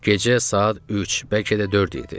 Gecə saat üç, bəlkə də dörd idi.